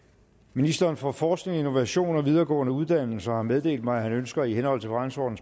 ministeren for forskning innovation og videregående uddannelser har meddelt mig at han ønsker i henhold til